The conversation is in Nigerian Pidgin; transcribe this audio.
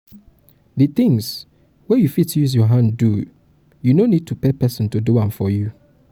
di things wey you fit use your hand do you no need to pay person to do am for you